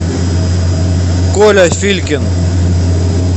коля филькин